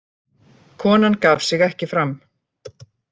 Konan gaf sig ekki fram